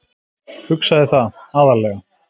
Hugsaði það,- aðallega.